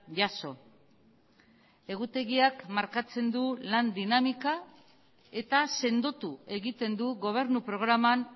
jaso egutegiak markatzen du lan dinamika eta sendotu egiten du gobernu programan